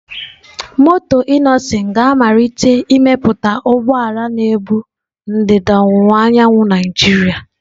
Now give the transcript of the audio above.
Moto Innoson ga-amalite imepụta ụgbọ ala na-ebu ndịda ọwụwa anyanwụ Naijiria.